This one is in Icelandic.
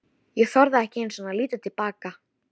Ég þorði ekki einu sinni að líta til baka.